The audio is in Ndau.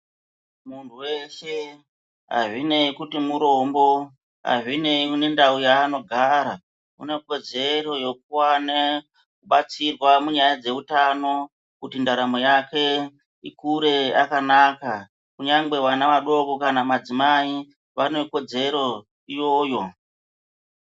Muntu weshe azvinei kuti murombo azvinei nendau yaanogara unekodzero yekuwane batsirwa munyaya dzeutano kuti ndaramo yake ikure yakanaka kunyange vana vadokonkama madzimai vane kodzero iyoyo.